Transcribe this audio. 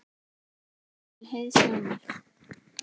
Rit til hliðsjónar: